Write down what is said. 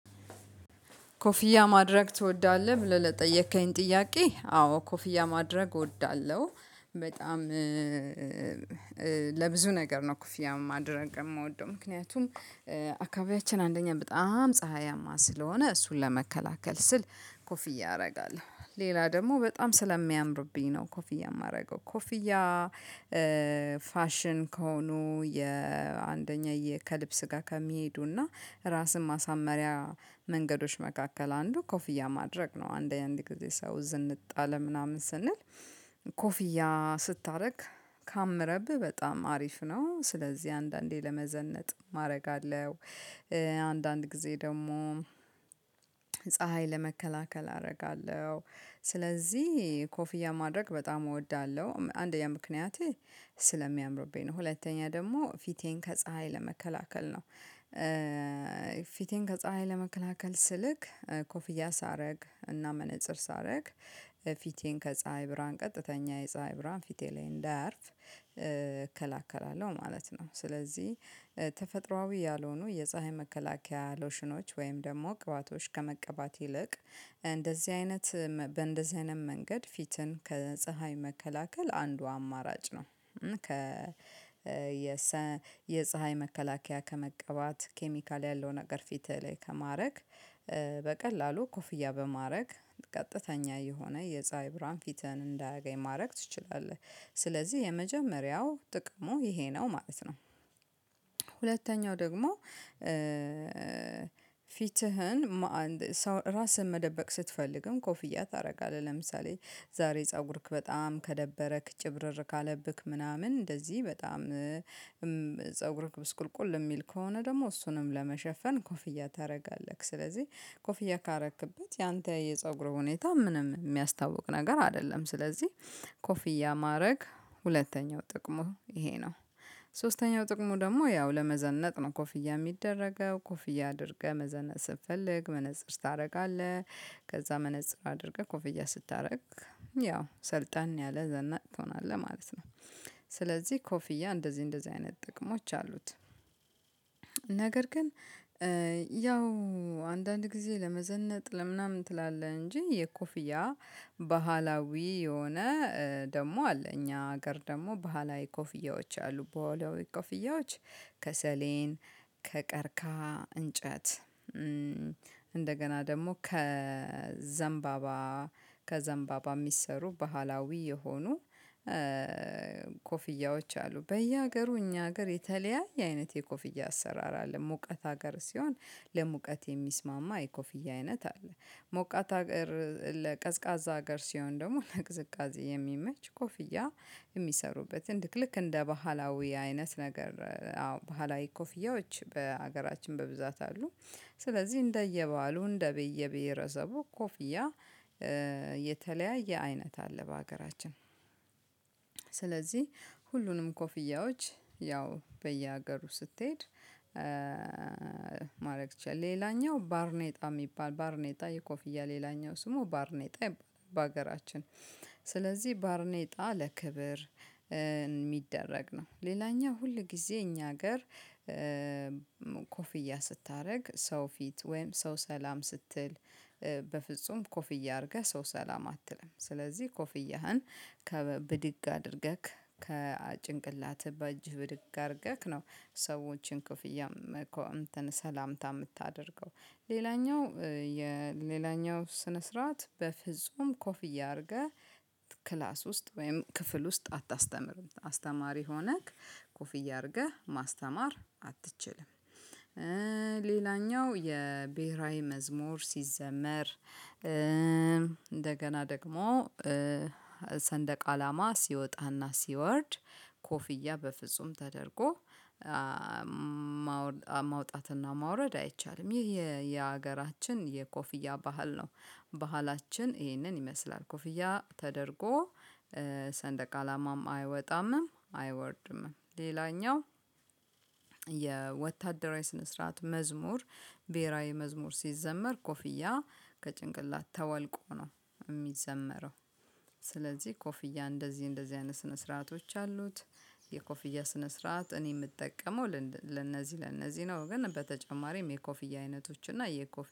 ኮፍያ ማድረግ ትወዳለህ ብለህ ለጠየከኝ ጥያቄ? አዎ ኮፍያ ማድረግ እወዳለሁ በጣም ለብዙ ነገር ነው ኮፍያ ማድረግ የምወደው። ምክንያቱም አካባቢያችን አንደኛ በጣም ፀሀያማ ስለሆነ እሱን ለመከላከል ስል ኮፍያ አደርጋለሁ። ሌላ ደግሞ በጣም ስለሚያምርብኝ ነው ኮፍያ የማደርገው ኮፍያ። ፋሽን ከሆኑ የአንደኛ ከልብስ ጋር ከሚሄዱና ራስን ማሳመሪያ መንገዶች መካከል አንዱ ኮፍያ ማድረግ ነው። አንድ የአንድ ጊዜ ሰው ዝንጥ አለ ምናምን ስንል ኮፍያ ስታደርግ ካመረብህ በጣም አሪፍ ነው። ስለዚህ አንዳንዴ ለመዘነጥ ማድረግ አለው። አንዳንድ ጊዜ ደግሞ ፀሀይ ለመከላከል አደርጋለሁ። ስለዚህ ኮፍያ ማድረግ በጣም እወዳለሁ አንደኛ ምክንያት ስለሚያምርብኝ ነው ሁለተኛ ደግሞ ፊቴን ከፀሀይ ለመከላከል ነው። ፊቴን ከፀሀይ ለመከላከል ስልክ ኮፍያ ሳደርግ እና መነፀር ሳደርግ ፊቴን ከፀሀይ ብርሃን ቀጥተኛ የፀሀይ ብርሃን ፊቴ ላይ እንዳያርፍ እከላከላለሁ ማለት ነው። ስለዚህ ተፈጥሮአዊ ያልሆኑ የፀሀይ መከላከያ ሎሽኖች ወይም ደግሞ ቅባቶች ከመቀባት ይልቅ እንደዚህ አይነት በእንደዚህ አይነት መንገድ ፊትን ከፀሀይ መከላከል አንዱ አማራጭ ነው። የፀሀይ መከላከያ ከመቀባት ኬሚካል ያለው ነገር ፊት ላይ ከማድረግ። በቀላሉ ኮፍያ በማድረግ ቀጥተኛ የሆነ የፀሀይ ብርሃን ፊተን እንዳያገኝ ማድረግ ትችላለህ ስለዚህ የመጀመሪያው ጥቅሙ ይሄ ነው ማለት ነው። ሁለተኛው ደግሞ ፊትህን ራስህን መደበቅ ስትፈልግም ኮፍያ ታደርጋለህ ለምሳሌ ዛሬ ፀጉርክ በጣም ከደበረክ ጭብርር ካለብክ ምናምን እንደዚህ በጣም ፀጉር ብስቁልቁል የሚል ከሆነ ደግሞ እሱንም ለመሸፈን ኮፍያ ታደርጋለህ። ስለዚህ ኮፍያ ካረክበት ያንተ የፀጉሩ ሁኔታ ምንም የሚያስታውቅ ነገር አይደለም። ስለዚህ ኮፍያ ማድረግ ሁለተኛው ጥቅሙ ይሄ ነው። ሶስተኛው ጥቅሙ ደግሞ ያው ለመዘነጥ ነው ኮፍያ የሚደረገው ኮፍያ አድርገህ መዘነጥ ስትፈልግ መነፅር ታደርጋለህ ከዛ መነፅር አድርገህ ኮፍያ ስታደርግ ያው ሰልጠን ያለ ዘናጭ ትሆናለህ ማለት ነው። ስለዚህ ኮፍያ እንደዚህ እንደዚህ አይነት ጥቅሞች አሉት። ነገር ግን ያው አንዳንድ ጊዜ ለመዘነጥ ለምናምን ትላለህ እንጂ የኮፍያ ባህላዊ የሆነ ደግሞ አለ። እኛ ሀገር ደግሞ ባህላዊ ኮፍያዎች አሉ በወላዊ ኮፍያዎች ከሰሌን ከቀርከሃ እንጨት። እንደገና ደግሞ ከዘንባባ ከዘንባባ የሚሰሩ ባህላዊ የሆኑ ኮፍያዎች አሉ። በየሀገሩ እኛ ሀገር የተለያየ አይነት የኮፍያ አሰራር አለ ሙቀት ሀገር ሲሆን ለሙቀት የሚስማማ የኮፍያ አይነት አለ። ሞቃት ሀገር ለቀዝቃዛ ሀገር ሲሆን ደግሞ ነቅዝቃዜ የሚመች ኮፍያ የሚሰሩበትን ልክልክ እንደ ባህላዊ አይነት ነገር አዎ ባህላዊ ኮፍያዎች በሀገራችን በብዛት አሉ። ስለዚህ እንደየባህሉ እንደየብሄረሰቡ ኮፍያ የተለያየ አይነት አለ በሀገራችን። ስለዚህ ሁሉንም ኮፍያዎች ያው በየሀገሩ ስትሄድ ማድረግ ትችላለህ። ሌላኛው ባርኔጣ የሚባል ባርኔጣ የኮፍያ ሌላኛው ስሙ ባርኔጣ ይባላል። በሀገራችን ስለዚህ ባርኔጣ ለክብር የሚደረግ ነው። ሌላኛው ሁል ጊዜ እኛ ሀገር ኮፍያ ስታደርግ ሰው ፊት ወይም ሰው ሰላም ስትል በፍጹም ኮፍያ አድርገህ ሰው ሰላም አትልም። ስለዚህ ኮፍያህን ከብድግ አድርገህ ከጭንቅላትህ በእጅህ ብድግ አድርገህ ነው ሰዎችን ክፍያ ሰላምታ የምታደርገው። ሌላኛው የሌላኛው ስነ ስርዓት በፍጹም ኮፍ እያደረገ ክላስ ውስጥ ወይም ክፍል ውስጥ አታስተምርም አስተማሪ ሆነክ ኮፍዬ አድርገህ ማስተማር አትችልም። ሌላኛው የብሄራዊ መዝሙር ሲዘመር እንደገና ደግሞ ሰንደቅ አላማ ሲወጣና ሲወርድ ኮፍያ በፍጹም ተደርጎ ማውጣትና ማውረድ አይቻልም ይሄ የሀገራችን የኮፍያ ባህል ነው። ባህላችን ይሄንን ይመስላል ኮፍያ ተደርጎ ሰንደቅ አላማም አይወጣምም አይወርድምም። ሌላኛው የወታደራዊ ስነ ስርዓት መዝሙር ብሄራዊ መዝሙር ሲዘመር ኮፍያ ከጭንቅላት ተወልቆ ነው የሚዘመረው። ስለዚህ ኮፍያ እንደዚህ እንደዚህ አይነት ስነ ስርዓቶች አሉት። የኮፍያ ስነ ስርዓት እኔ የምጠቀመው ለእነዚህ ለእነዚህ ነው። ግን በተጨማሪም የኮፍያ አይነቶች እና የኮፍያ